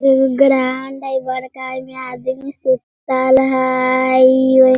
एगो ग्राउंड हई बड़का एमे आदमी सुतल हई।